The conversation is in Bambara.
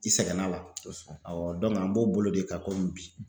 I sɛgɛnn'a la kosɛbɛ awɔ dɔnku an b'o bolo de ka komi bi